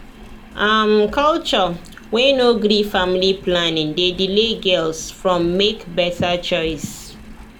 um culture wey no gree family planning dey delay girls from make better choice